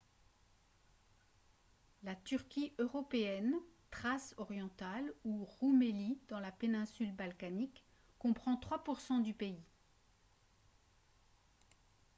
la turquie européenne thrace orientale ou roumélie dans la péninsule balkanique comprend 3 % du pays